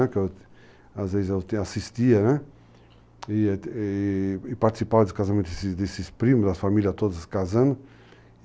Às vezes eu assistia e participava dos casamentos desses primos, das famílias todas casando.